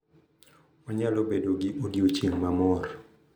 Wanyalo bedo gi odiochieng' ma mor